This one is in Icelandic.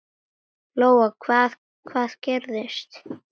Lóa: Hvað, hvað gerðist?